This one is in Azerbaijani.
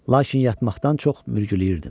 Lakin yatmaqdan çox mürgüləyirdim.